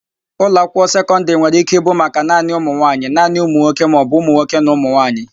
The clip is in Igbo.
Ụlọakwụkwọ sekọndịrị nwere ike ịbụ maka naanị ụmụnwaanyị, naanị ụmụnwoke maọbụ ụmụnwoke na ụmụnwaanyị.